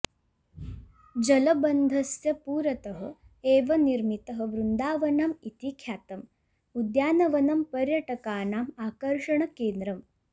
जलबन्धस्य पुरतः एव निर्मितः वृन्दावनम् इति ख्यातम् उद्यानवनं पर्यटकानाम् आकर्षणकेन्द्रम्